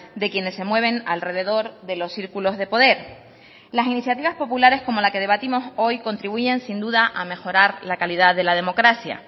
de quienes se mueven alrededor de los círculos de poder las iniciativas populares como la que debatimos hoy contribuyen sin duda a mejorar la calidad de la democracia